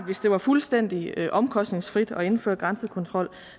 hvis det var fuldstændig omkostningsfrit at indføre grænsekontrol